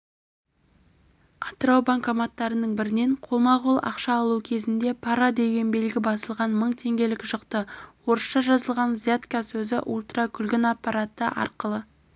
атырау банкоматтарының бірінен қолма-қол ақша алу кезінде пара деген белгі басылған мың теңгелік шықты орысша жазылған взятка сөзі ультракүлгін аппараты арқылы